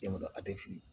Denwolo a tɛ fili